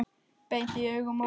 Beint í augun og brosti.